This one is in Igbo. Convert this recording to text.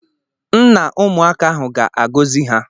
Nna ụmụaka ahụ ga-agọzi ha.